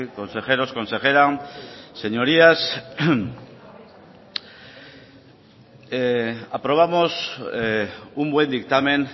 consejeros consejera señorías aprobamos un buen dictamen